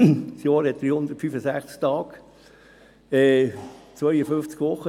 Das Jahr hat 365 Tage, also 52 Wochen.